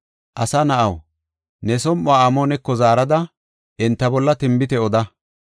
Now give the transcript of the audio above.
“Asa na7aw, ne som7uwa Amooneko zaarada, enta bolla tinbite oda.